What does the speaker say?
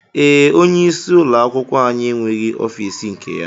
Ee, onye isi ụlọ akwụkwọ anyị enweghị ọfiisi nke ya